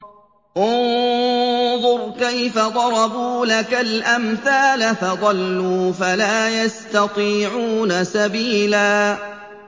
انظُرْ كَيْفَ ضَرَبُوا لَكَ الْأَمْثَالَ فَضَلُّوا فَلَا يَسْتَطِيعُونَ سَبِيلًا